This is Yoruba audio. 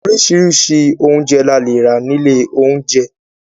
Oríṣiríṣi oúnjẹ la lè rà nílé oúnjẹ.